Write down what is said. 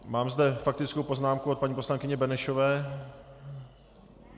Mám zde faktickou poznámku od paní poslankyně Benešové.